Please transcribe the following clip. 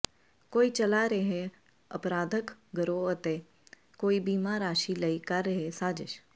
ਕੋਈ ਚਲਾ ਰਿਹੈ ਅਪਰਾਧਕ ਗਰੋਹ ਤੇ ਕੋਈ ਬੀਮਾ ਰਾਸ਼ੀ ਲਈ ਕਰ ਰਿਹੈ ਸਾਜਿਸ਼